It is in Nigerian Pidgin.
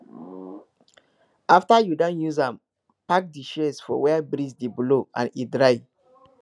after you don use am park di shears for where breeze dey blow and e dry